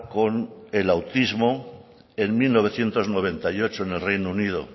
con el autismo en mil novecientos noventa y ocho en el reino unido